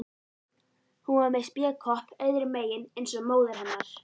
Hún var með spékopp öðrum megin eins og móðir hennar.